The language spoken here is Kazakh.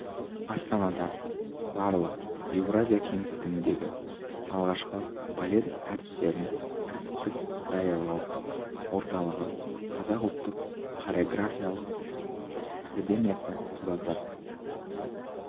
астанада барлық еуразия кеңістігіндегі алғашқы балет әртістерін кәсіптік даярлау орталығы қазақ ұлттық хореография академиясы құрылды